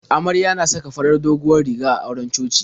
Amarya na saka doguwar farar riga a auren coci.